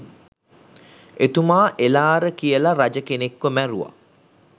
එතුමා එළාර කියල රජ කෙනෙක්ව මැරුව